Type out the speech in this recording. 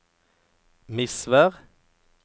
Misvær